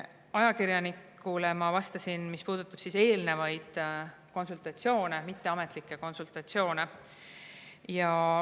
Ajakirjanikule ma vastasin, mis puudutab eelnevaid konsultatsioone, mitteametlikke konsultatsioone.